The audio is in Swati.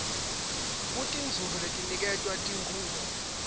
kutinzuzo letiniketwa tikhungo